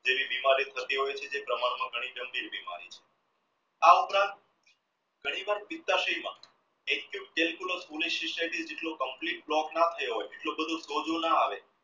તેવી બીમારી થતી હોય તે પ્રમાણ માં ગાંભીર બીમારી આ ઉપરાંત ઘણી વાર જેટલું complete લોક ના થયું હોય એટલો બધો સોજો ના આવે